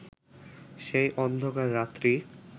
সেই অন্ধকার রাত্রি